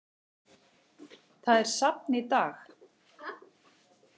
Það er safn í dag.